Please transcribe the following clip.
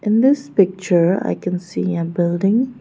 in this picture i can see a building.